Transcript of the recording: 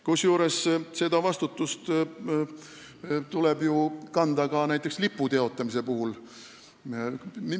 Kusjuures vastutust tuleb ju kanda ka näiteks lipu teotamise puhul.